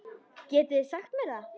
Getið þið sagt mér það?